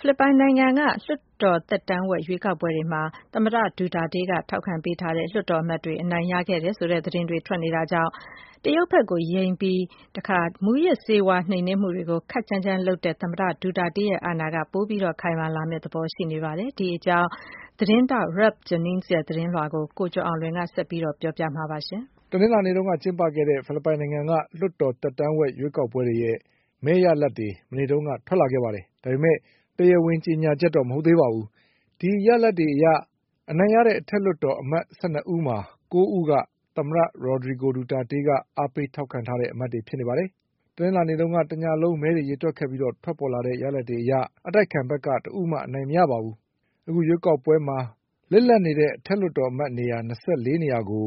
ဖိလစ်ပိုင်နိုင်ငံက လွှတ်တော်သက်တမ်းဝက်ရွေးကောက်ပွဲတွေမှာ သမ္မတဒူတာတေးက ထောက်ခံ ပေးထားတဲ့လွှတ်တော် အမတ်တွေက အနိုင်ရခဲ့တယ်ဆိုတဲ့သတင်းတွေထွက်နေတာကြောင့် တရုတ်ဘက်ကို ယိမ်းပြီး မူးယစ်ဆေးဝါးနှိမ်နင်းမှု တွေကိုခပ်ကြမ်းကြမ်းလုပ်တဲ့ သမ္မတဒူတာတေးရဲ့ အာဏာက ပိုပြီးခိုင်မာလာမယ့်သဘောရှိနေပါတယ်။ ဒီအကြောင်း Ralph Jennings ရဲ့သတင်းကို ကိုကျော်အောင်လွင် ဆက်ပြောပါလိမ့်မယ်။ တနင်္လာနေ့က ကျင်းပခဲ့တဲ့ ဖိလစ်ပိုင်နိုင်ငံက လွှတ်တော်သက်တမ်းဝက်ရွေးကောက်ပွဲတွေရဲ့ မဲရလဒ်တွေ မနေ့ကထွက် လာခဲ့ပါတယ်။ ဒါပေမဲ့ တရားဝင်ကြေညာချက်တော့ မဟုတ်သေးပါဘူး။ ဒီရလဒ်တွေအရ အနိုင်ရတဲ့ အထက်လွှတ်တော် အမတ်၁၂ ဦးမှာ ၉ဦးက သမ္မတ Rodrigo Duterte က အားပေးထောက်ခံထားတဲ့ အမတ်တွေဖြစ်ပါတယ်။ တနင်္လာနေ့ညက တညလုံးမဲတွေကိုရေတွက်ခဲ့ပြီးထွက်ပေါ်လာတဲ့ ရလဒ်တွေအရ အတိုက်အခံဘက်က တဦးမှအနိုင်မရပါဘူး။ အခုရွေး ကောက်ပွဲမှာ လစ်လပ်နေတဲ့ အထက်လွှတ်တော်အမတ် ၂၄နေရာကို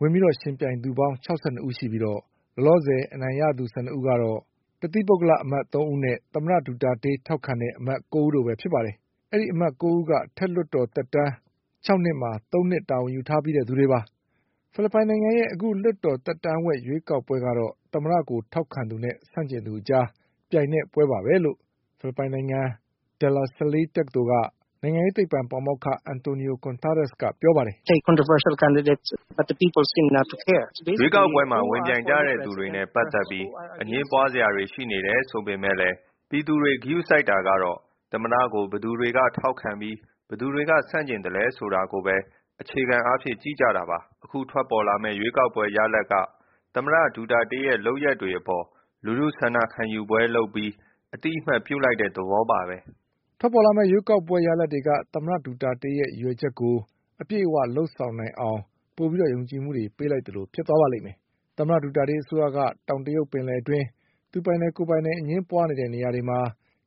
ဝင်ပြီးယှဉ်ပြိုင်သူပေါင်း ၆၂ဦးရှိပြီး လောလောဆယ် အနိုင်ရသူ ၁၂ဦးကတော့ တသီး ပုဂ္ဂလ အမတ်သုံးဦးနဲ့ သမ္မတဒူတာတေး ထောက်ခံတဲ့ အမတ် ၉ဦးတို့ပဲဖြစ်ပါတယ်။ အဲဒီအမတ် ၉ဦးက အထက်လွှတ်တော် အမတ်သက်တမ်း၆နှစ်မှာ သုံးနှစ်တာဝန် ယူထားပြီးသူတွေပါ။ ဖိလစ်ပိုင်နိုင်ငံရဲ့ အခုလွှတ်တော်သက်တမ်းဝက်ရွေးကောက်ပွဲ ကတော့ သမ္မတကိုထောက်ခံသ ူနဲ့ဆန့် ကျင်သူအကြား ပြိုင်တဲ့ပွဲပါပဲလို့ ဖိလစ်ပိုင်နိုင်ငံ De La Salle တက္ကသိုလ်က နိုင်ငံ ရေးသိပ္ပံပါမောက္ခ Antonio Contreras ကပြောပါတယ်။ “ရွေးကောက်ပွဲမှာ ဝင်ပြိုင်ကြတဲ့သူတွေနဲ့ပတ်သက်ပြီး အငြင်းပွားစရာတွေရှိနေတယ်ဆိုပေမဲ့လည်း ပြည်သူတွေ ကရုစိုက် တာကတော့ သမ္မတကို ဘယ်သူတွေက ထောက်ခံပြီး ဘယ်သူတွေက ဆန့်ကျင်သလဲဆိုတာကိုပဲ အခြေခံအားဖြင့်ကြည့် ကြတာပါ။ အခုထွက်ပေါ်လာမယ့် ရွေးကောက်ပွဲရလဒ်က သမ္မတဒူတာတေးရဲ့လုပ်ရပ်တွေအပေါ် လူထုဆန္ဒခံယူပွဲလုပ် ပြီး အသိအမှတ်ပြုလိုက်တဲ့ သဘောပါပဲ” ထွက်ပေါ်လာမယ့်ရွေးကောက်ပွဲရလဒ်တွေက သမ္မတဒူတာတေးရဲ့ ရည်ရွယ်ချက်တွေကို အပြည့်အဝလုပ်ဆောင်နိုင်အောင် ပိုပြီးယုံကြည်မှုတွေပေးလိုက်သလိုဖြစ်သွားပါလိမ့်မယ်။ သမ္မတဒူတာတေး အစိုးရက တောင်တရုတ်ပင်လယ် အတွင်း သူပိုင်တယ်၊ ကိုယ်ပိုင်တယ်အငြင်းပွားနေတဲ့နေရာတွေမှာ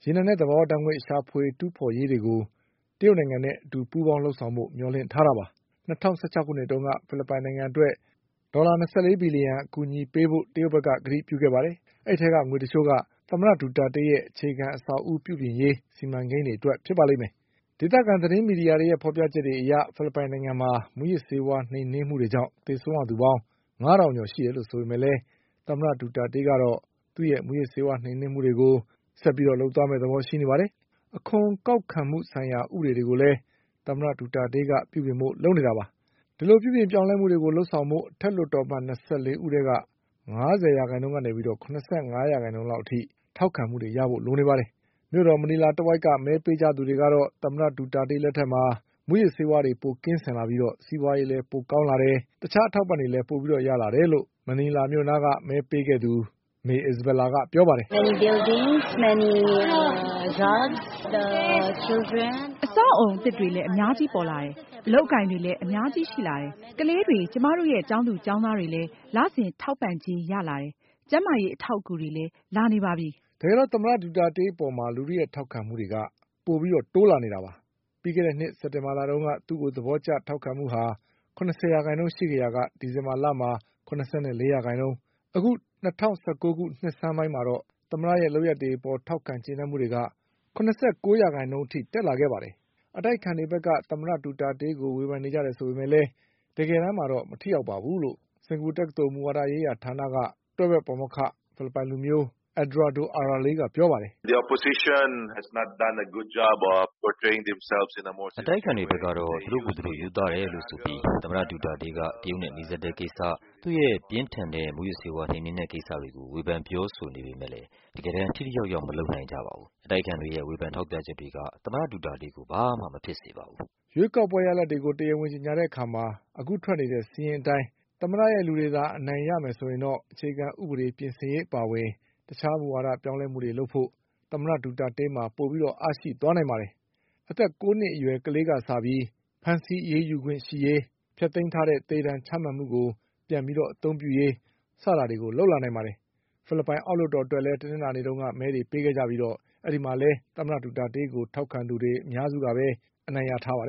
ရေနံနဲ့သဘာဝဓါတ်ငွေ့ရှာဖွေတူးဖေါ်ရေးတွေကို တရုတ် နိုင်ငံနဲ့အတူပူးပေါင်းလုပ်ဆောင်ဖို့မျှော်လင့်ထားတာပါ။ ၂၀၁၆ခုနှစ်တုန်းက ဖိလစ်ပိုင်နိုင်ငံအတွက် ဒေါ်လာ၂၄ဘီလျှံ အကူအညီပေးဖို့ တရုတ်က ကတိပြုခဲ့ပါတယ်။ အဲဒီအထဲကငွေတချို့က သမ္မတဒူတာတေးရဲ့ အခြေခံ အဆောက်အဦး ပြုပြင်ရေးစီမံကိန်း တွေအတွက်ဖြစ်ပါလိမ့်မယ်။ ဒေသခံသတင်းမီဒီယာတွေရဲ့ဖေါ်ပြချက်တွေအရေ ဖိလစ်ပိုင်နိုင်ငံမှာ မူးယစ်ဆေးဝါးနှိမ်နင်း မှုတွေကြောင့်သေဆုံးရသူပေါင်း ငါးထောင်ကျော် ရှိတယ်လို့ဆိုပေမဲ့လည်း သမ္မတဒူတာတေးကတော့ သူ့ရဲ့ မူးယစ်ဆေး ဝါးနှိမ်နင်းမ ှုလုပ်ငန်းတွေကိုဆက်ပြီးလုပ်သွားမယ့်သဘောရှိနေပါတယ်။ အခွန်ကောက်ခံမှုဆိုင်ရာဥပဒေတွေကိုလည်း သမ္မတဒူတာတေးက ပြုပြင်ဖို့လုပ်နေပါတယ်။ ဒီလိုပြုပြင်ပြောင်းလဲမှုတွေ လုပ်ဆောင်ဖို့ အထက်လွှတ်တော်အမတ်၂၄ဦးထဲ က ငါးဆယ်ရာခိုင်နှုန်းကနေ ၇၅ရာခိုင်နှုန်းအထိထောက်ခံမှု တွေရဖို့လိုပါတယ်။ မြို့တော် မနီလာတဝိုက်က မဲပေးသူတွေ ကတော့ သမ္မတဒူတာတေးလက်ထက်မှာ မူးယစ်ဆေးဝါးတွေပိုကင်းစင်ပြီး စီးပွားရေးလည်းပိုကောင်းလာတယ်၊ တခြားအထောက် အပံ့တွေလည်းရလာတယ်လို့ မဲပေးခဲ့တဲ့ မနီလာမြို့နားက May Isabela ကပြောပါတယ်။ “အဆောက်အဦးအသစ်တွေလည်း အများကြီးပေါ်လာတယ်၊ အလုပ်အကိုင်တွေလည်း အများကြီးရှိလာတယ်။ ကလေး တွေ ကျမတို့ရဲ့ကျောင်းသူကျောင်းသားတွေလည်း လစဉ် ထောက်ပံ့ကြေးရလာတယ်။ ကျန်းမာရေးအထောက်အကူ တွေ လည်းလာနေပါပြီ” တကယ်တော့ သမ္မတဒူတာတေး အပေါ်လူထုရဲ့ ထောက်ခံမှုတွေက တိုးနေတာပါ။ ပြီးခဲ့တဲ့နှစ် စက်တင်ဘာလတုန်းက သူ့ကိုသဘောထောက်ခံမှုက ၇၀ရာနှုန်း ရှိခဲ့ရာက ဒီဇင်ဘာမှာ ၇၄ရာခိုင်နှုန်းနဲ့ အခု၂၀၁၉နှစ်ဆန်းပိုင်းမှာတော့ သမ္မတရဲ့လုပ်ရပ် တွေအပေါ် ထောက်ခံကျေနပ်မှု တွေက ၇၉ရာခိုင်နှုန်း အထိတက်လာခဲ့ပါတယ်။ အတိုက်အခံတွေဘက်က သမ္မတဒူတာ တေးကို ဝေဖန်နေကြတယ်ဆိုပေမဲ့လည်း တကယ်တမ်းမှာ မထိရောက် ဘူးလို့ စင်္ကာပူတက္ကသိုလ် မူဝါဒရေးရာဌာနက တွဲဘက်ပါမောက္ခ ဖိလစ်ပိုင်လူမျိုး Eduardo Araral ကပြောပါတယ်။ “အတိုက်အခံတွေ ဘက်ကတော့ သူတို့ကိုယ်သူတို့ရိုးသားတယ်လို့ဆိုပြီး သမ္မတဒူတာတေးက တရုတ်နဲ့ နီးစပ်တဲ့ကိစ္စ၊ သူ့ရဲ့ ပြင်းထန်တဲ့ မူးယစ်ဆေးဝါးနှိမ်နင်းတဲ့ကိစ္စတွေကို ဝေဖန်ပြောဆို နေပေမဲ့လည်း တကယ်တမ်း ထိထိရောက်ရောက် မလုပ်နိုင်ကြပါဘူး။ အတိုက်အခံတွေရဲ့ ဝေဖန်ထောက်ပြချက်တွေက သမ္မတဒူတာတေးကို ဘာမှမဖြစ်စေပါဘူး” ရွေးကောက်ပွဲရလဒ်တွေ တရားဝင်ကြေညာတဲ့အခါ အခုထွက်နေတဲ့စာရင်းအတိုင်း သမ္မတရဲ့ လူတွေသာ အနိုင်ရမယ် ဆိုရင်တော့ အခြေခံဥပဒေပြင်ဆင်ရေးအပါအဝင် တခြား မူဝါဒပြောင်းလဲမှုတွေ လုပ်ဖို့ သမ္မတဒူတာတေးမှာ အားပိုရှိသွား နိုင်ပါတယ်။ အသက် ၉နှစ်အရွယ် ကလေးကစပြီး ဖမ်းဆီးအရေးယူခွင့်ရရေး၊ ဖျက်သိမ်းထားတဲ့ သေဒဏ်ချမှတ်မှုကို ပြန် အသုံးပြုရေး စတာတွေလုပ်လာနိုင်ပါတယ်။ ဖိလစ်ပိုင်အောက်လွှတ်တော်အတွက်လည်း တနင်္လာနေ့က မဲတွေပေးခဲ့ကြပြီး အဲဒီမှာလည်း သမ္မတဒူတာတေးကို ထောက်ခံသူတွေအများစုက အနိုင်ရ ထားပါတယ